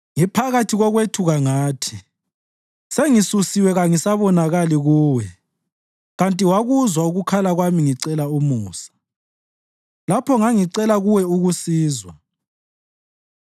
Ngiphakathi kokwethuka ngathi, “Sengisusiwe kangisabonakali Kuwe!” Kanti wakuzwa ukukhala kwami ngicela umusa, lapho ngangicela kuwe ukusizwa.